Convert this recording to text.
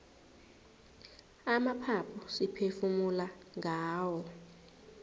amaphaphu siphefumula ngawo